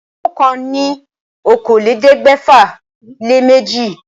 Òǹkà ní okòólélẹ́ẹ̀ẹ́dẹ́gbẹ́fà-lé-méjì.